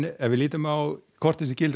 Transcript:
ef við lítum á kortið á